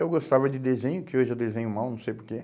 Eu gostava de desenho, que hoje eu desenho mal, não sei porquê.